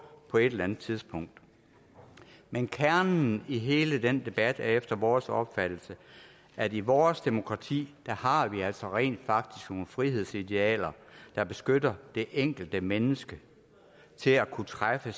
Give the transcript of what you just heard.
på et eller andet tidspunkt men kernen i hele den debat er efter vores opfattelse at i vores demokrati har vi altså rent faktisk nogle frihedsidealer der beskytter det enkelte menneske til at kunne træffe